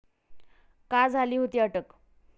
का झाली होती अटक?